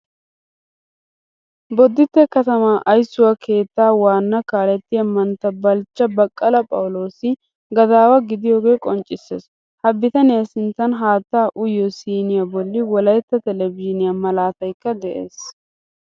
Boditte katama ayssuwaa keettaa waana kaalettiyaa mantta balcha baqala phawulosi gadaawa gidiyoga qonccisees. Ha bitaniya sinttan haattaa uyiyo siiniyaa bolli wolaytta televzhiniya malaataykka de'ees.